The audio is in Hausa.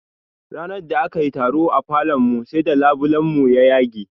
Ranar da akayi taro a falon mu sai da labulen mu ya yage